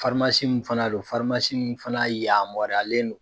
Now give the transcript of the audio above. mun fana don in fana yaamɔriyalen don